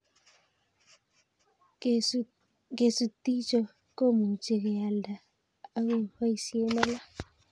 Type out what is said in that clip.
Kesutichoto komuchi kealda akoboisie alak